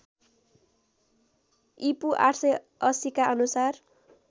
ईपू ८८० का अनुसार